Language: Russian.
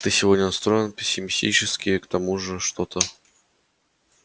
ты сегодня настроен пессимистически к тому же что-то